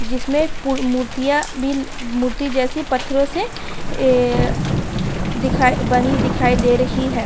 जिसमे मूर्तिय मूरति जैसे पत्थरों से ऐ दिखाई बनी दिखाई दे रही है।